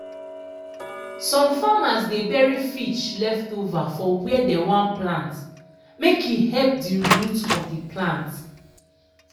some farmers dey bury fish leftover for where dem wan plant make e help the root of de plant.